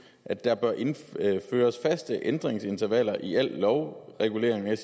at der bør indføres indføres faste ændringsintervaller i al lovregulering der